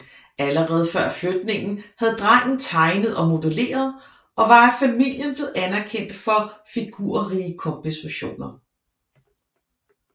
Allerede før flytningen havde drengen tegnet og modelleret og var af familien blevet anerkendt for figurrige kompositioner